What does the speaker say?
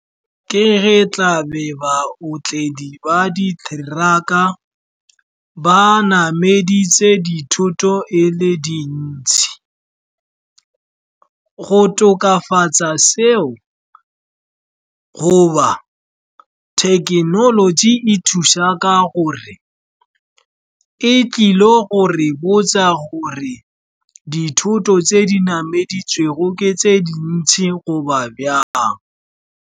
Ke ge tla ba otledi ba di-truck-a ba nameditse dithoto e le dintsi go tokafatsa seo, goba thekenoloji e thusa ka gore e tlile go re botsa gore dithoto tse di nameditswego ke tse dintsi goba bjang.